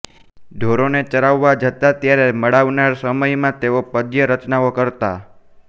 ઢોરોને ચરવવા જતા ત્યારે મળનારા સ્મયમાં તેઓ પદ્ય રચનાઓ કરતા